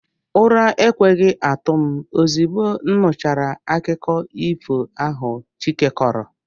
ura ekwehi atu m ozugbo nuchara akuko ifo ahu chike koro